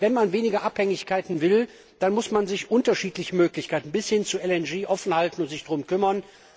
Denn wenn man weniger Abhängigkeiten will, dann muss man sich unterschiedliche Möglichkeiten bis hin zu LNG offenhalten und sich darum kümmern.